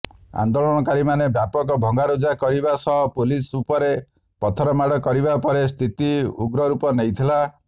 ଆନ୍ଦୋଳନକାରୀମାନେ ବ୍ୟାପକ ଭଙ୍ଗାରୁଜା କରିବା ସହ ପୁଲିସ ଉପରେ ପଥରମାଡ଼ କରିବା ପରେ ସ୍ଥିତି ଉଗ୍ରରୂପ ନେଇଥିଲା